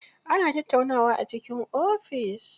Ana tattaunawa a cikin ofis.